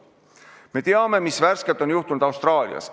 Me teame, mis hiljuti on juhtunud Austraalias.